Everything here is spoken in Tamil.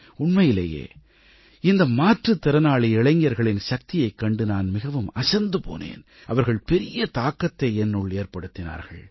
உண்மையிலேயே இந்த மாற்றுத்திறனாளி இளைஞர்களின் சக்தியைக் கண்டு நான் மிகவும் அசந்து போனேன் அவர்கள் பெரிய தாக்கத்தை என்னுள் ஏற்படுத்தினார்கள்